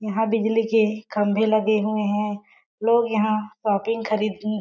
यहाँ बिजली के खंभे लगे हुए है। लोग यहाँ शॉपिंग खरीद ने--